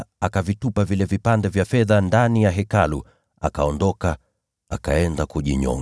Basi Yuda akavitupa vile vipande vya fedha ndani ya Hekalu akaondoka akaenda kujinyonga.